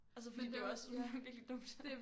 Altså fordi det er jo også virkelig dumt